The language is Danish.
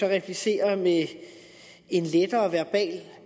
replicerer med en lettere verbal